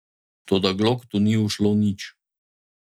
Toda Gloktu ni ušlo nič.